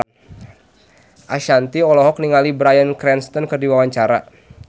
Ashanti olohok ningali Bryan Cranston keur diwawancara